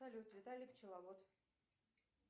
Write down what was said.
салют виталий пчеловод